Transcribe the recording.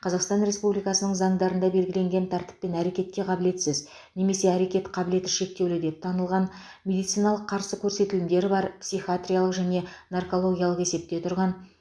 қазақстан республикасының заңдарында белгіленген тәртіппен әрекетке қабілетсіз немесе әрекет қабілеті шектеулі деп танылған медициналық қарсы көрсетілімдері бар психиатриялық және наркологиялық есепте тұрған